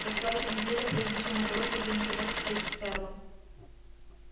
прошла ещё неделя прежде чем удалось организовать встречу с ферлом